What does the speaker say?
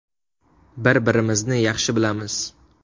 Bir-birimizni yaxshi bilamiz.